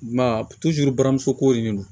I m'a ye buramuso ko de do